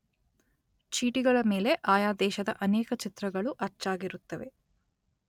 ಚೀಟಿಗಳ ಮೇಲೆ ಆಯಾ ದೇಶದ ಅನೇಕ ಚಿತ್ರಗಳು ಅಚ್ಚಾಗಿರುತ್ತವೆ.